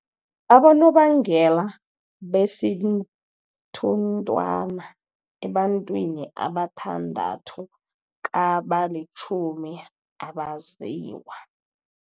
Abonobangela besithunthwana ebantwini abathandathu kabalitjhumi abaziwa.